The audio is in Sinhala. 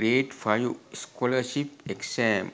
grade 5 scholarship exam